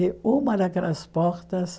E uma daquelas portas